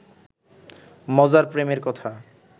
মজার প্রেমের কথা